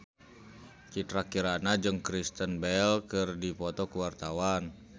Citra Kirana jeung Kristen Bell keur dipoto ku wartawan